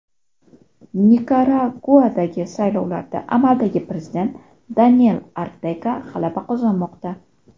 Nikaraguadagi saylovlarda amaldagi prezident Daniel Ortega g‘alaba qozonmoqda.